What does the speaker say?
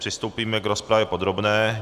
Přistoupíme k rozpravě podrobné.